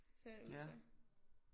Ser det ud til